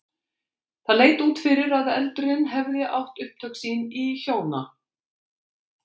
Það leit út fyrir að eldurinn hefði átt upptök sín í hjóna